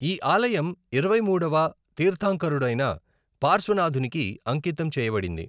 ఈ ఆలయం ఇరవైమూడవ తీర్థంకరుడైన పార్శ్వనాథునికి అంకితం చేయబడింది.